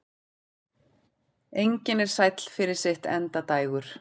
Engin er sæll fyrir sitt endadægur.